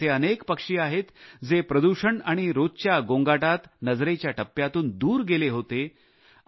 आज असे अनेक पक्षी आहेत जे प्रदूषण आणि रोजच्या गोंगाटात नजरेच्या टप्प्यातून दूर गेले होते